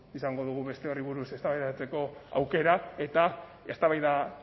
izango dugu beste horri buruz eztabaidatzeko aukera eta eztabaida